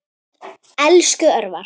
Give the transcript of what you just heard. Elsku Örvar.